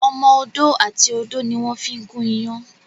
Ọmọ ọdọ àti odo ní wón fí gun iyán.